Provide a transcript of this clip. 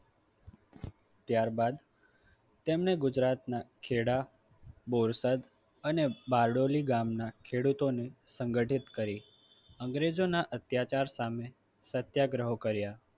ત્યારબાદ તેમણે ગુજરાતના ખેડા બોરસદ અને બારડોલી ગામના ખેડૂતોને સંગઠિત કરી અંગ્રેજોના અત્યાચાર સામે સત્યાગ્રહો કર્યા.